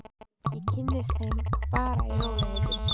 Ég kynnist þeim bara í rólegheitum.